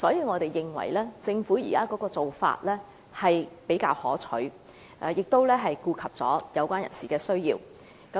我們認為政府現時的做法比較可取，亦顧及有關人士的需要。